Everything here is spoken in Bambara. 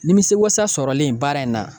Nimisiwasa sɔrɔlen baara in na